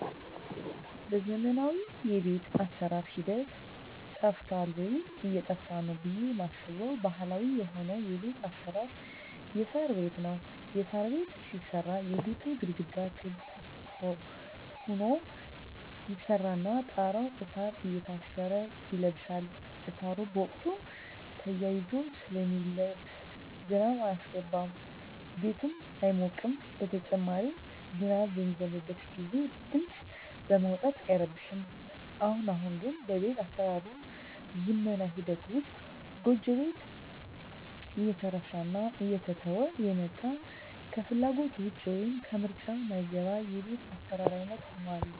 በዘመናዊ የቤት አሰራር ሂደት ጠፍቷል ወይም እየጠፋ ነው ብየ ማስበው ባህላዊ የሆነው የቤት አሰራር የሳር ቤት ነው። የሳር ቤት ሲሰራ የቤቱ ግድግዳ ክብ ሁኖ ይሰራና ጣራው እሳር እየታሰረ ይለብሳል እሳሩ በቁመቱ ተያይዞ ስለሚለብስ ዝናብ አያስገባም ቤቱም አይሞቅም በተጨማሪም ዝናብ በሚዘንብበት ግዜ ድምጽ በማውጣት አይረብሽም። አሁን አሁን ግን በቤት አሰራር ዝመና ሂደት ውስጥ ጎጆ ቤት እየተረሳና እየተተወ የመጣ ከፍላጎት ውጭ ወይም ከምርጫ ማይገባ የቤት አሰራር አይነት ሁኗል።